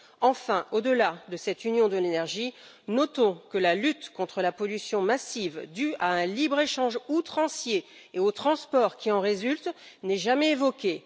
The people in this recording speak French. Enfin, au delà de cette union de l'énergie, notons que la lutte contre la pollution massive due à un libre échange outrancier et au transport qui en résulte, n'est jamais évoquée.